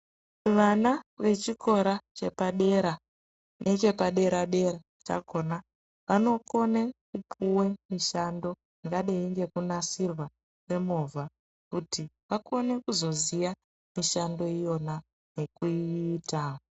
Vana vechikora chepadera nechepadera-dera chakhona vanokone kupuwe mishando yakadai ngekunasirwa kwemovha kuti vakone kuzoziya mishando iyona ngekuiita.